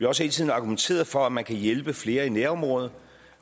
også hele tiden argumenteret for at man kan hjælpe flere i nærområderne